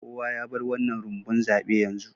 Kowa ya bar wannan rumbun zabe yanzu